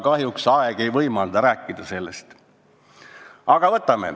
Kahjuks ei võimalda aeg sellest rääkida.